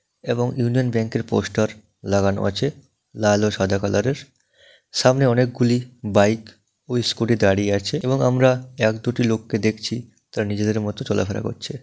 এবং ইউনিয়ন ব্যাংকের পোস্টার লাগানো আছে লাল ও সাদা কালার এর সামনে অনেকগুলি বাইক ওই স্কুটি দাঁড়িয়ে আছে এবং আমরা এক দুটি লোককে দেখছি তারা নিজেদের মতো চলাফেরা করছে।